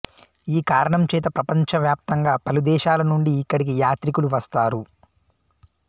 ఈ కారణం చేత ప్రపంచ వ్యాప్తంగా పలు దేశాల నుండి ఇక్కడికి యాత్రికులు వస్తారు